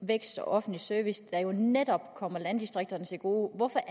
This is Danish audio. vækst og offentlig service der jo netop kommer landdistrikterne til gode hvorfor